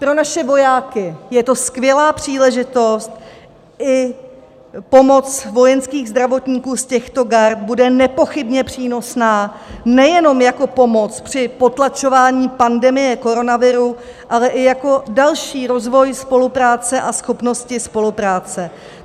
Pro naše vojáky je to skvělá příležitost, i pomoc vojenských zdravotníků z těchto gard bude nepochybně přínosná nejenom jako pomoc při potlačování pandemie koronaviru, ale i jako další rozvoj spolupráce a schopnosti spolupráce.